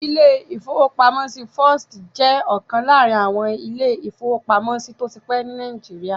Ilé-ìfowópamọ́sí First jẹ́ ọ̀kan láàrin àwọn ilé-ìfowópamọ́sí tó ti pẹ́ ní Nàìjíríà